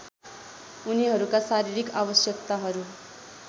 उनीहरूका शारीरिक आवश्यकताहरू